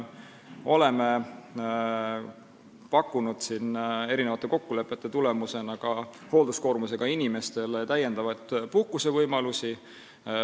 Oleme mitmete kokkulepete tulemusena pakkunud hoolduskoormusega inimestele täiendavaid puhkusevõimalusi.